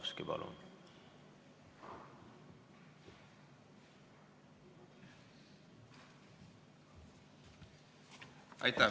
Aitäh!